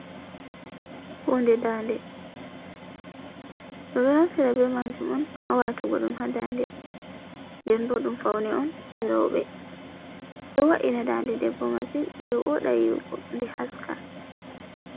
Hunde dande. Ɓe ɗo naftira be majum on ha watugo ɗum ha dande nden bo ɗum faune on je roɓe. Ɗo vo’ina dande debbo masin nden woɗa yiwugo nden haska.